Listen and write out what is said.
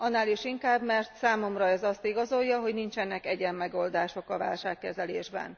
Annál is inkább, mert számomra ez azt igazolja, hogy nincsenek egyenmegoldások a válságkezelésben.